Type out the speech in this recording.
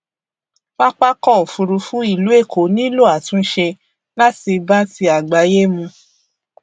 pápákọ òfurufú ìlú èkó nílò àtúnṣe láti bá ti àgbáyé mu